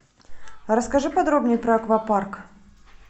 расскажи подробнее про аквапарк